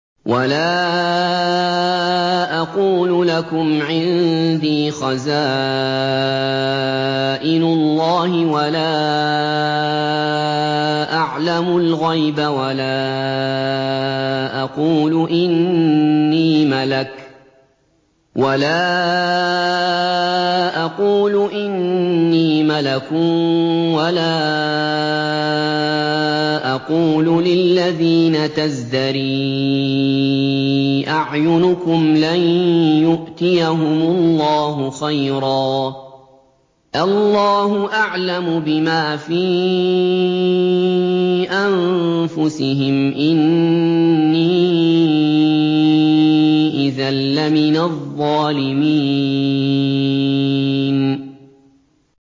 وَلَا أَقُولُ لَكُمْ عِندِي خَزَائِنُ اللَّهِ وَلَا أَعْلَمُ الْغَيْبَ وَلَا أَقُولُ إِنِّي مَلَكٌ وَلَا أَقُولُ لِلَّذِينَ تَزْدَرِي أَعْيُنُكُمْ لَن يُؤْتِيَهُمُ اللَّهُ خَيْرًا ۖ اللَّهُ أَعْلَمُ بِمَا فِي أَنفُسِهِمْ ۖ إِنِّي إِذًا لَّمِنَ الظَّالِمِينَ